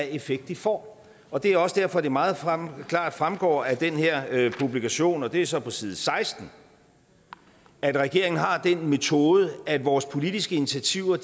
en effekt de får og det er også derfor det meget klart fremgår af den her publikation og det er så på side seksten at regeringen har den metode at vores politiske initiativer